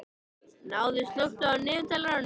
Náð, slökktu á niðurteljaranum.